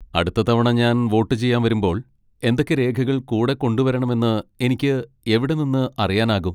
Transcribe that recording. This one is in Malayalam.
അടുത്ത തവണ ഞാൻ വോട്ട് ചെയ്യാൻ വരുമ്പോൾ എന്തൊക്കെ രേഖകൾ കൂടെ കൊണ്ടുവരണമെന്ന് എനിക്ക് എവിടെ നിന്ന് അറിയാനാകും?